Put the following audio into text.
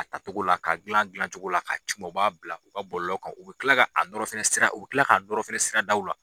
A togo la ka gilan a gilancogo la ka c'u ma, u b'a bila u ka bɔlɔlɔ kan, u bi kila nɔrɔn fɛnɛ sira u bi kila ka nɔrɔn fɛnɛ siradaw la.